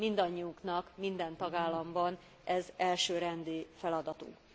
Mindannyiunknak, minden tagállamban ez elsőrendű feladatunk.